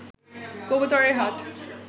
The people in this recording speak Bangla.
কবুতরের হাট